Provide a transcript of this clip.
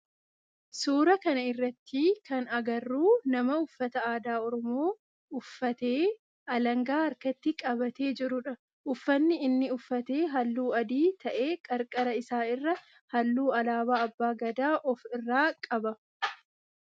Suuraa kana irratti kan agarru nama uffata aadaa oromoo uffatee alaangaa harkatti qabatee jirudha. Ufanni inni uffate halluu adii ta'ee qarqara isaa irraa halluu alaabaa abbaa Gadaa of irraa qaba.